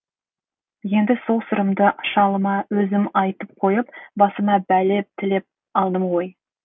енді сол сырымды шалыма өзім айтып қойып басыма бәле тілеп алдым ғой